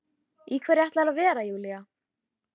Í hverju ætlarðu að vera Júlía?